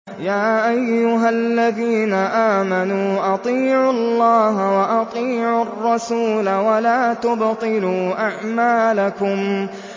۞ يَا أَيُّهَا الَّذِينَ آمَنُوا أَطِيعُوا اللَّهَ وَأَطِيعُوا الرَّسُولَ وَلَا تُبْطِلُوا أَعْمَالَكُمْ